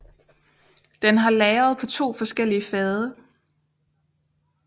Den har lagret på 2 forskellige fade